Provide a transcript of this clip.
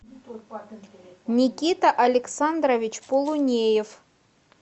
никита александрович полунеев